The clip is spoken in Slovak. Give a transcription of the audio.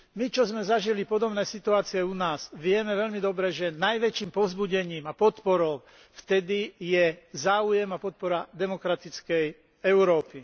My, čo sme zažili podobné situácie u nás, vieme veľmi dobre, že najväčším povzbudením a podporou vtedy je záujem a podpora demokratickej Európy.